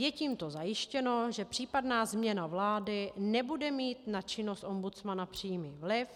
Je tímto zajištěno, že případná změna vlády nebude mít na činnost ombudsmana přímý vliv.